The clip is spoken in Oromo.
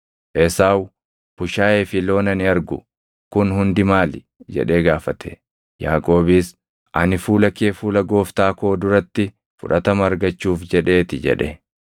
Esaawu, “Bushaayee fi loon ani argu kun hundi maali?” jedhee gaafate. Yaaqoobis, “Ani fuula kee fuula gooftaa koo duratti fudhatama argachuuf jedhee ti” jedhe.